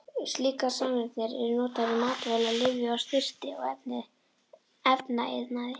Slíkar sameindir eru notaðar í matvæla-, lyfja-, snyrti- og efnaiðnaði.